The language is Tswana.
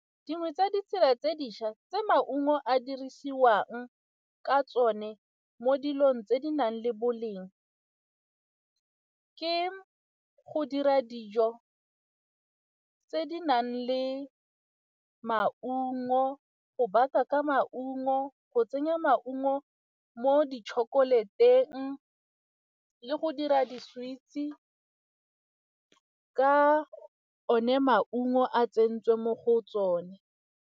Dingwe tsa ditsela tse dišwa tse maungo a dirisiwang ka tsone mo dilong tse di nang le boleng ke go dira dijo tse di nang le maungo, go baka ka maungo, go tsenya maungo mo di-chocolate-eng le go dira di ka one maungo a tsentswe mo go tsone.